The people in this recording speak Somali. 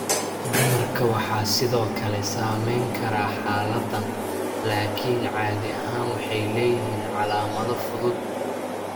Dumarka waxaa sidoo kale saameyn kara xaaladdan, laakiin caadi ahaan waxay leeyihiin calaamado fudud.